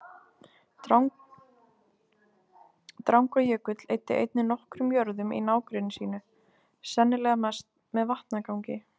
Drangajökull eyddi einnig nokkrum jörðum í nágrenni sínu, sennilega mest með vatnagangi.